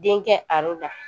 Den kɛ la